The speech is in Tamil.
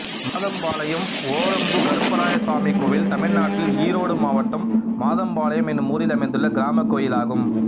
மாதம் பாளையம் ஓரம்பு கருப்பராயசுவாமி கோயில் தமிழ்நாட்டில் ஈரோடு மாவட்டம் மாதம் பாளையம் என்னும் ஊரில் அமைந்துள்ள கிராமக் கோயிலாகும்